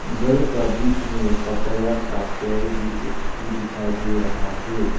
घर का बीच में पपाया का पेड़ भी एक ठो दिखाई दे रहा है।